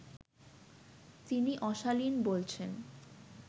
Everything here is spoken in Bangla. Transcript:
তিনি অশালীন বলছেন